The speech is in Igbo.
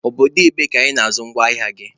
Obodo ebee ka Ị na-azụ ngwa ahịa gị?